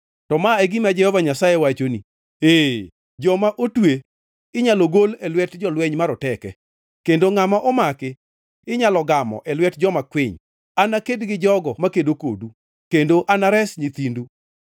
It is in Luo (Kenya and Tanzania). To ma e gima Jehova Nyasaye wachoni: “Ee, joma otwe inyalo gol e lwet jolweny maroteke, kendo ngʼama omaki inyalo gamo e lwet joma kwiny; anaked gi jogo makedo kodu, kendo anares nyithindu.